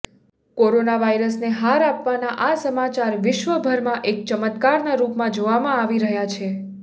corona વાયરસને હાર આપવાના આ સમાચાર વિશ્વભરમાં એક ચમત્કારનાં રૂપમાં જોવામાં આવી રહ્યા છે